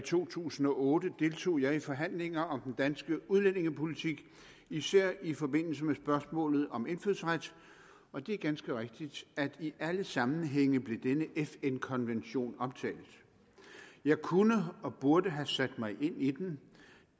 to tusind og otte deltog jeg i forhandlinger om den danske udlændingepolitik især i forbindelse med spørgsmålet om indfødsret og det er ganske rigtigt at i alle sammenhænge blev denne fn konvention omtalt jeg kunne og burde have sat mig ind i den